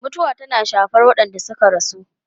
Mutuwa tana shafar waɗanda suka rasu.